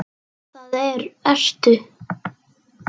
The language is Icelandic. Það ertu.